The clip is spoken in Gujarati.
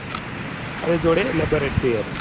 એની જોડે laboratory હતી